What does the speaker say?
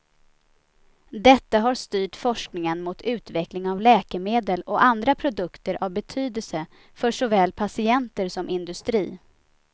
Detta har styrt forskningen mot utveckling av läkemedel och andra produkter av betydelse för såväl patienter som industri.